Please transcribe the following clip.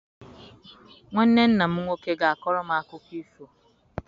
Nwanne nna m nwoke ga-akọrọ m akụkọ ifo.